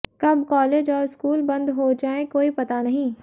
कब कॉलेज और स्कूल बंद हो जाएँ कोई पता नहीं